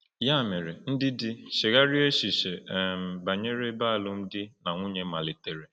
Ya mere, ndị di, chegharịa echiche um banyere ebe alụmdi na nwunye malitere.